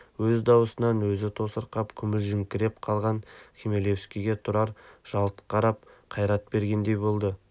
өз дауысын өзі тосырқап күмілжіңкіреп қалған хмелевскийге тұрар жалт қарап қайрат бергендей болды